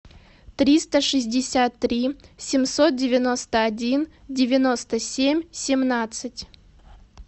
триста шестьдесят три семьсот девяносто один девяносто семь семнадцать